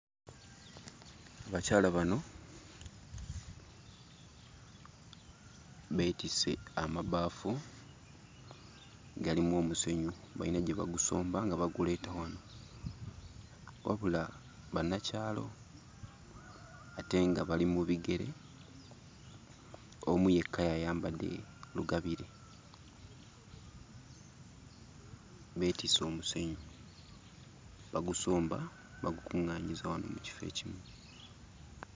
Abakyala bano beetisse amabaafu. Galimu omusenyu bayina gye bagusomba nga baguleeta wano; wabula bannakyalo ate nga bali mu bigere. Omu yekka y'ayambadde lugabire. Beetisse omusenyu, bagusomba bagukuŋŋaanyiza wano mu kifo ekimu.